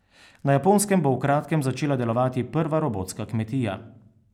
Na Japonskem bo v kratkem začela delovati prva robotska kmetija.